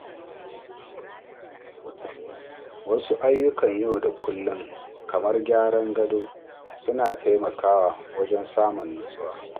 Wasu ayyukan yau da kullum kamar gyara gado suna taimakawa wajen samun natsuwa.